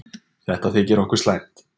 Þetta þykir okkur slæmt.